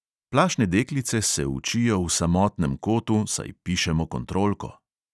Plašne deklice se učijo v samotnem kotu, saj pišemo kontrolko.